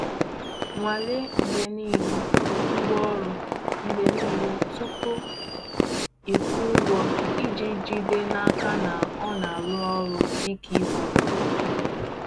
Nwanle mgbe niile ngwaọrụ mgbe niile tupu ịkwụ ụgwọ iji jide n'aka na ọ na-arụ ọrụ dịka e kwuru.